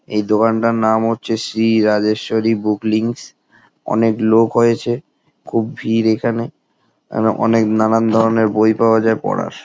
এই দোকানটার নাম হচ্ছে শ্রী রাজেস্বরী বুক লিংকস অনেক লোক হয়েছে খুব ভিড় এখানে এখানে অনেক নানান ধরণের বই পাওয়া যায় পড়ার।